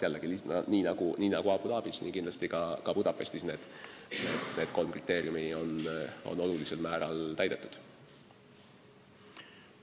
Nii nagu Abu Dhabis, on need kolm kriteeriumi olulisel määral täidetud ka Budapestis.